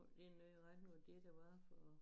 Det noget i retning af det der var for